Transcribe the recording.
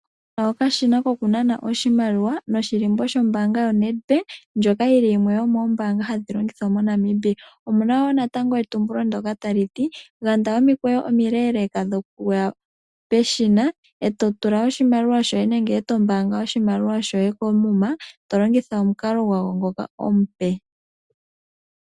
Okashina koku nana oshimaliwa noshilimbo shombanga yo Netbank ndyoka yili yimwe yomombanga hadhi longithwa moNamibia, omuna netumbulo ndoka tali ti yanda omikweyo omileleka dhokuya peshina eto tula oshimaliwa shoye nenge eto mbanga oshimaliwa shoye koomuma tolongitha omukalo gwawo ngoka omupe.